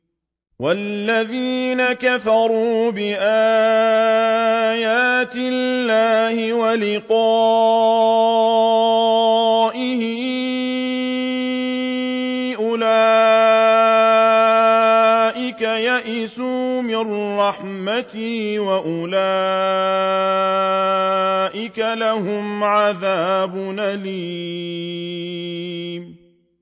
وَالَّذِينَ كَفَرُوا بِآيَاتِ اللَّهِ وَلِقَائِهِ أُولَٰئِكَ يَئِسُوا مِن رَّحْمَتِي وَأُولَٰئِكَ لَهُمْ عَذَابٌ أَلِيمٌ